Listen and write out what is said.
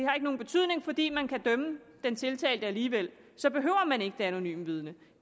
har nogen betydning fordi man kan dømme den tiltalte alligevel så behøver man ikke det anonyme vidne